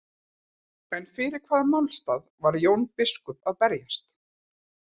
En fyrir hvaða málstað var Jón biskup að berjast?